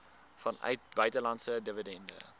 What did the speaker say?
vanuit buitelandse dividende